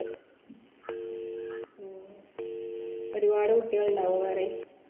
അഹ് ഒരുപാട് കുട്ടികൾ ഉണ്ടാവോ വേറേം?